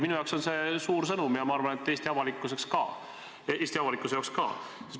Minu jaoks on see suur sõnum ja ma arvan, et Eesti avalikkuse jaoks ka.